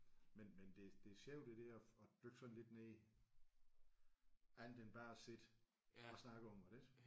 Men men det det er sjovt det der at dykke sådan lidt ned andet end bare at sidde og snakke om det ik?